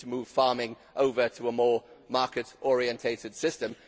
We need to move farming over to a more market orientated system.